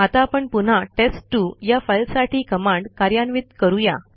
आता आपण पुन्हा टेस्ट2 या फाईलसाठी कमांड कार्यान्वित करूया